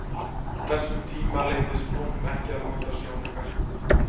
á þessum tíma leyfðist konum ekki að nota sjónauka